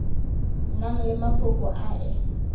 nang le mafoko a e